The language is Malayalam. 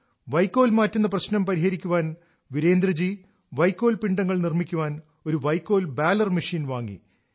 | വൈക്കോൽ മാറ്റുന്ന പ്രശ്നം പരിഹരിക്കാൻ വീരേന്ദ്ര ജി വൈക്കോൽ പിണ്ഡങ്ങൾ നിർമ്മിക്കാൻ ഒരു വൈക്കോൽ ബാലർ മെഷീൻ വാങ്ങി